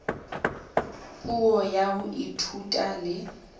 puo ya ho ithuta le